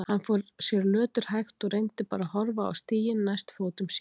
Hann fór sér löturhægt og reyndi bara að horfa á stíginn næst fótum sér.